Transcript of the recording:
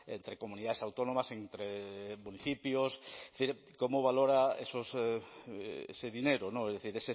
entre comunidades autónomas entre municipios es decir cómo valora ese dinero es decir